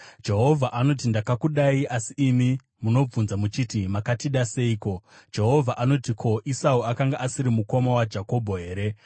Jehovha anoti, “Ndakakudai.” Asi imi munobvunza muchiti, “Makatida seiko?” Jehovha anoti, “Ko, Esau akanga asiri mukoma waJakobho here?